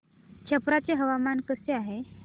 छप्रा चे हवामान कसे आहे